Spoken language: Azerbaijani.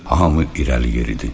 Hamı irəli yeridir.